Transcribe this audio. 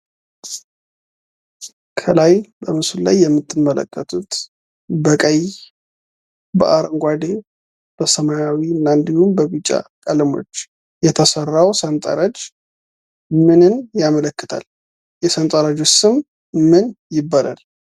ከላይ በምስሉ ላይ የምትመለከቱት በቀይ በአንጓደ በሰማያዊ እና እንድሁም በቢጫ ቀለሞች የተሰራው ሰንጠረዥ ምንን ያመለክታል? የሰንጠረዡስ ስም ምን ይባላል?